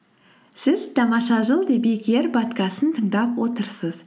сіз тамаша жыл подкастын тыңдап отырсыз